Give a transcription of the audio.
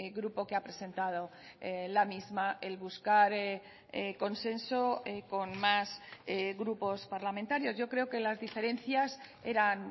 grupo que ha presentado la misma el buscar consenso con más grupos parlamentarios yo creo que las diferencias eran